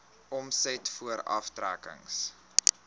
omset voor aftrekkings